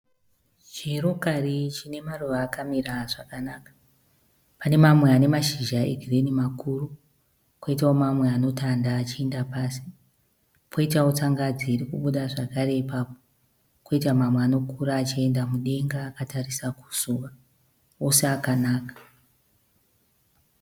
Chirokari chine maruva akamira zvakanaka pane mamwe ane mashizha egirini makuru ,poitawo mamwe ano tanda achienda pasi, poitawo tsangadzi iri kubuda zvakare ipapo, koitawo mamwe ari kukura achienda mudenga akatasira zuva, ose akanaka.